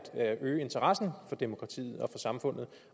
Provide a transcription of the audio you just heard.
at øge interessen for demokratiet og for samfundet